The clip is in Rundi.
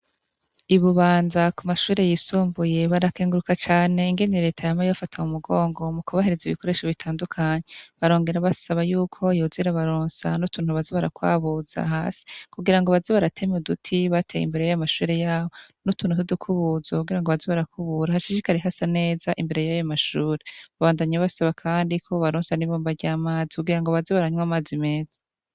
Ibibunza kumashure yisumbuye barakenguruka cane ingene reta yama ibafata kumugongo mukubahereza ibikoresho bitandukanye barongera basaba yuko yoza irabaronsa utuntu baza barakwabuza hasi kugirango baze baratema uduti imbere yamashure yabo nutuntu nkudukubuzo baze barakubura hashishikare harasa neza imbere yayo mashure babandanya basaba kandi ko bobaronse ibombo ryamazi kugira ngo baze baranywa amazi meza